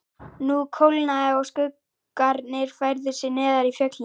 Nú kólnaði og skuggarnir færðu sig neðar í fjöllin.